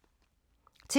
TV 2